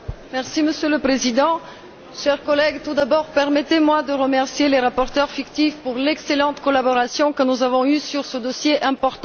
Monsieur le Président, chers collègues, tout d'abord, permettez moi de remercier les rapporteurs fictifs pour l'excellente collaboration que nous avons eue sur ce dossier important.